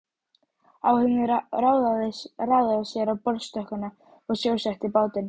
Áhöfnin raðaði sér á borðstokkana og sjósetti bátinn.